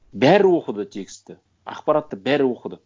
бәрі оқыды текстті ақпаратты бәрі оқыды